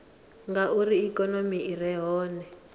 ngauri ikonomi i re hone